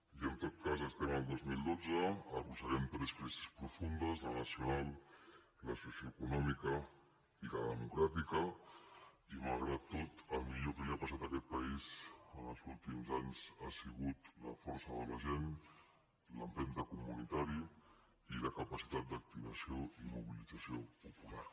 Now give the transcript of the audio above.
i en tot cas estem al dos mil dotze arrosseguem tres crisis profundes la nacional la socioeconòmica i la democràtica i malgrat tot el millor que li ha passat a aquest país en els últims anys ha sigut la força de la gent l’empenta comunitària i la capacitat d’activació i mobilització popular